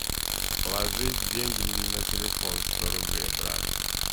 положи деньги на телефон сто рублей брат